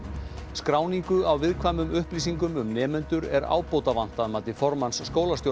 skráningu á viðkvæmum upplýsingum um nemendur er ábótavant að mati formanns